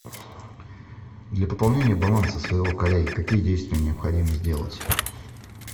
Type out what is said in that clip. для пополнения баланса своего коллеги какие действия необходимо сделать